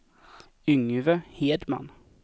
Yngve Hedman